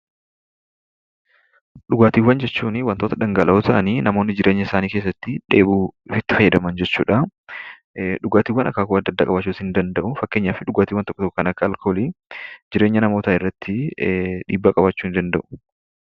Dhugaatiiwwan jechuun waantota dhangala'oo ta'anii namoonni jireenya isaanii keessatti dheebuu itti bahan jechuudha. Dhugaatiiwwan akaakuu addaa addaa qabaachuu ni danda'u, fakkeenyaaf dhugaatiiwwan tokko tokko kan akka alkoolii jireenya namootaa irratti dhiibbaa qabaachuu ni danda'u.